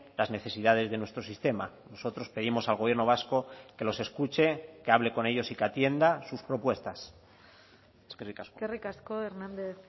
las necesidades de nuestro sistema nosotros pedimos al gobierno vasco que los escuche que hable con ellos y que atienda sus propuestas eskerrik asko eskerrik asko hernández